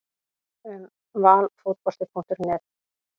Um Valfotbolti.net